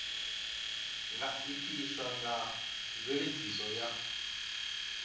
nga itiswa nga mveledziso ya